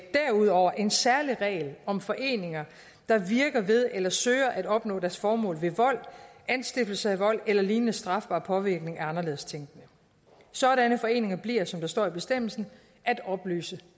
derudover en særlig regel om foreninger der virker ved eller søger at opnå deres formål ved vold anstiftelse af vold eller lignende strafbar påvirkning af anderledes tænkende sådanne foreninger bliver som der står i bestemmelsen at opløse